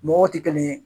Mɔgɔw tɛ kelen ye